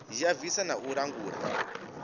ya bvisa na u langula